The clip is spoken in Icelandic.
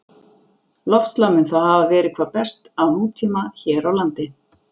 Loftslag mun þá hafa verið hvað best á nútíma hér á landi.